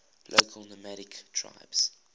local nomadic tribes